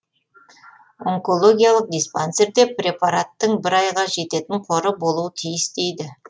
онкологиялық диспансерде препараттың бір айға жететін қоры болуы тиіс дейді